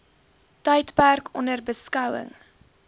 tydperk onder beskouing